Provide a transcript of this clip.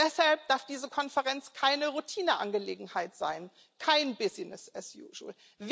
Deshalb darf diese Konferenz keine Routineangelegenheit sein, kein business as usual